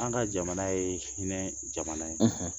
An ka jamana ye hinɛ jamana ye